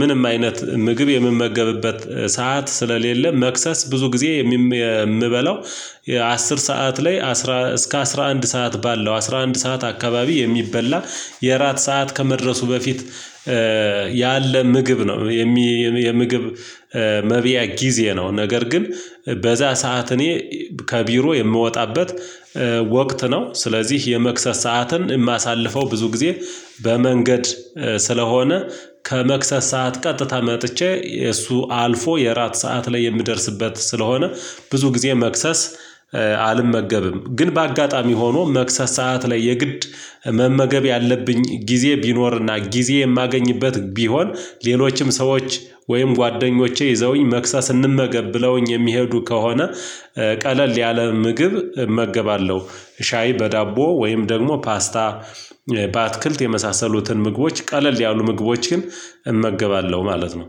ምንም አይነት ምግብ የምመገብበት ሰዓት ስለሌለ መክሰስ ብዙ ጊዜ የምበላው አስር ሰዓት ላይ እስከ አስራ አንድ ሰዓት ባለው አስራ አንድ ሰዓት አካባቢ የሚበላ የእራት ሰዓት ከመድረሱ በፊት ያለ ምግብ ነው የሚ የምግብ መብያ ጊዜ ነው ነገር ግን በዛ ሰዓት እኔ ከቢሮ የምወጣበት ወቅት ነው፤ ስለዚህ የመክሰስ ሰዓትን የማሳልፈው ብዙ ጊዜ በመንገድ ስለሆነ ከመክሰስ ሰዓት ቀጥታ መጥቼ እሱ አልፎ የእራት ሰዓት ላይ የምደርስበት ስለሆነ ብዙ ጊዜ መክሰስ አልመገብም፤ ግን በአጋጣሚ ሆኖ መክሰስ ሰዓት ላይ የግድ መመገብ ያለብኝ ጊዜ ቢኖርና ጊዜ የማገኝበት ቢሆን ሌሎችም ሰዎች ወይም ጓደኞቼ ይዘውኝ መክሰስ ስንመገብ ብለውኝ የሚሄዱ ከሆነ ቀለል ያለ ምግብ እመገባለሁ፤ ሻይ በዳቦ ወይም ደግሞ ፓስታ በአትክልት የመሳሰሉትን ምግቦች ቀለል ያሉ ምግቦችን እመገባለሁ ማለት ነው።